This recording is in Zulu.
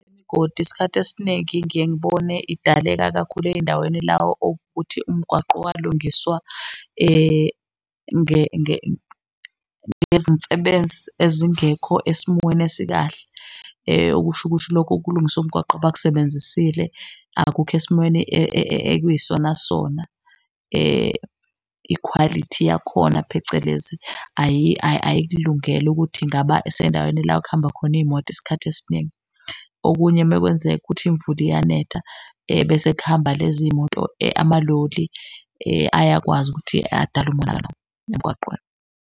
isikhathi esiningi ngiye ngibone idaleka kakhulu ey'ndaweni la owukuthi umgwaqo walungiswa ngezinsebenzi ezingekho esimweni esikahle. Okusho ukuthi lokho kulungiswa umgwaqo abakusebenzisile akukho esimweni ekuyisona sona ikhwalithi yakhona phecelezi ayikulungele ukuthi ingaba sendaweni la kuhamba khona iy'moto isikhathi esiningi. Okunye mekwenzeka ukuthi imvula iyanetha bese kuhamba lezi iy'moto amaloli ayakwazi ukuthi adale umonakalo emgwaqweni.